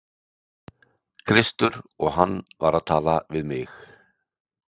Kristur og hann var að tala við mig.